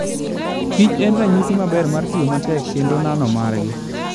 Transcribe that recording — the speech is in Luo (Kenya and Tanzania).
kich en ranyisi maber mar tiyo matek kendo nanomargi.